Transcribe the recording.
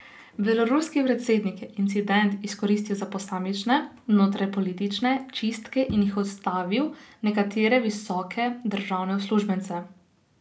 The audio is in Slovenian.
Beloruski predsednik je incident izkoristil za posamične notranjepolitične čistke in je odstavil nekatere visoke državne uslužbence.